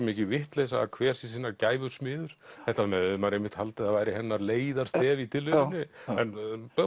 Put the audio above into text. mikil vitleysa að hver sé sinnar gæfusmiður þetta hefði maður einmitt haldið að væri hennar leiðarstef í tilverunni en